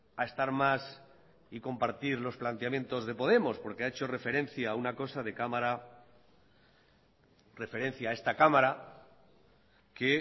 a estar más y compartir los planteamientos de podemos porque ha hecho referencia a una cosa de cámara referencia a esta cámara que